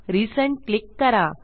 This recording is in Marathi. रिझेंड क्लिक करा